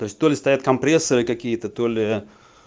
то есть то ли стоят компрессоры какие-то то ли